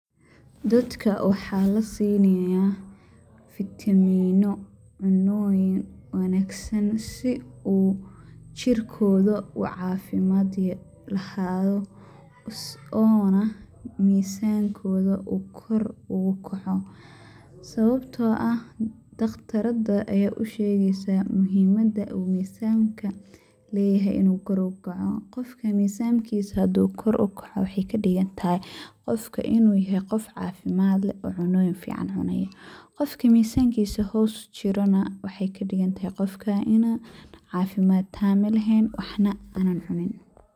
Dadka waxaa la sinayaa fitamiino, cunnoyin wanaagsan si uu jirkooda u cafimaad lahaado oona misankooda uu kor uu u kaco. Sawabtoo ah dhakhtaradda ayaa u shegeysaa muhimadda uu kisaanka uu leyahay inuu kor u kaco ,qofka misankiisa hadii uu kor u kaco ,waxey ka dhigan tahay qofka inuu yahay qof cafimaad leh ,cunnoyin fiican cunayo .Qofki mizankiisa hoos u dhaco waxey ka dhigan tahay qofka inuu cafimaad taam eh laheen ,waxna aanan cunin.